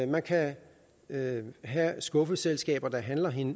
man kan have skuffeselskaber der handler